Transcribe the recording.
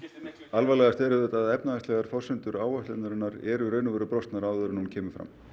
alvarlegast er að efnahagslegar forsendur áætlunarinnar eru í raun og veru brostnar áður en hún kemur fram